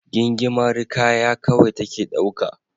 Gingimari kaya kawai take dauka.